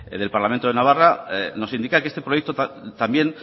del parlamento de navarra nos indica que este proyecto también